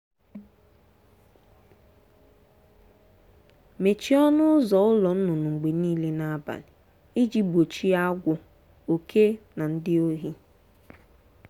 mechie ọnụ ụzọ ụlọ nnụnụ mgbe niile n'abalị iji gbochie agwọ oke na ndị ohi.